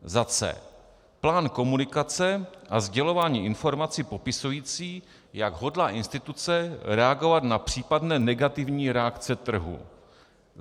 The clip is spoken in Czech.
c) plán komunikace a sdělování informací popisující, jak hodlá instituce reagovat na případné negativní reakce trhu,